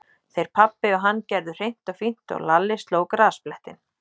Þeir pabbi og hann gerðu hreint og fínt og Lalli sló grasblettinn.